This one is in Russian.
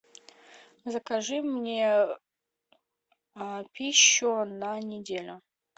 закажи мне пищу на неделю